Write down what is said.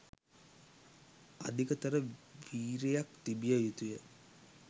අධිකතර වීරියක් තිබිය යුතුය